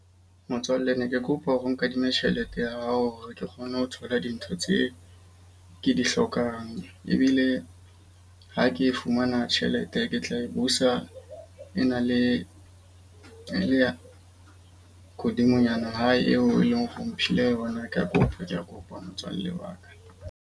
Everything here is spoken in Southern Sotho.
Motswalle ne ke kopa hore o nkadime tjhelete ya hao hore ke kgone ho thola dintho tse ke di hlokang. Ebile ha ke fumana tjhelete, ke tla tla e busa e na le hodimonyana hae eo e leng hore o mphile yona. Ka kopa ke a kopa motswalle wa ka.